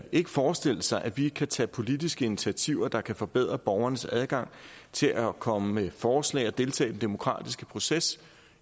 ikke forestille sig at vi kan tage politiske initiativer der kan forbedre borgernes adgang til at komme med forslag og deltage i den demokratiske proces